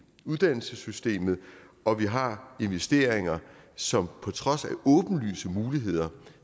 uddannelsessystemet og vi har investeringer som på trods af åbenlyse muligheder